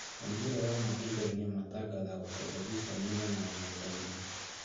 Maumĩrĩra ma igeranio matangathagwo terebicheni-inĩ na nenda-inĩ